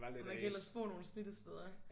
Man kan ellers bo nogle slidte steder